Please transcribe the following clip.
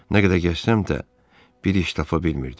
Nə qədər gəzsəm də, bir iş tapa bilmirdim.